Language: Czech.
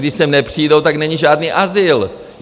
Když sem nepřijdou, tak není žádný azyl.